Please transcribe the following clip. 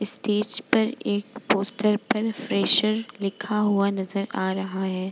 Stage पर एक poster पर फ्रेशर लिखा हुआ नजर आ रहा है।